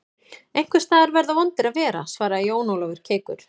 Einhvers staðar verða vondir að vera, svaraði Jón Ólafur keikur.